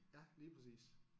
Ja lige præcis